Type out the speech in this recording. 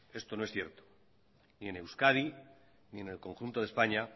esto no es cierto ni en euskadi ni en el conjunto de españa